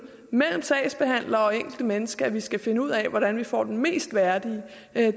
mellem sagsbehandler og det enkelte menneske at vi skal finde ud af hvordan vi får den mest værdige